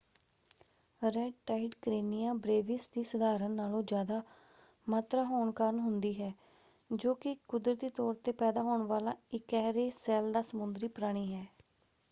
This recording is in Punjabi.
ਰੈੱਡ ਟਾਈਡ ਕਰੇਨੀਆ ਬ੍ਰੇਵਿਸ ਦੀ ਸਧਾਰਨ ਨਾਲੋਂ ਜ਼ਿਆਦਾ ਮਾਤਰਾ ਹੋਣ ਕਾਰਨ ਹੁੰਦੀ ਹੈ ਜੋ ਕਿ ਇੱਕ ਕੁਦਰਤੀ ਤੌਰ ‘ਤੇ ਪੈਦਾ ਹੋਣ ਵਾਲਾ ਇਕਿਹਰੇ ਸੈੱਲ ਦਾ ਸਮੁੰਦਰੀ ਪ੍ਰਾਣੀ ਹੈ।